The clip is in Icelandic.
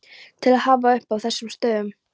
til að hafa uppi á þessum stöðum.